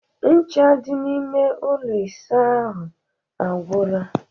Ncha dị n'ime ụlọ ịsa ahụ agwụla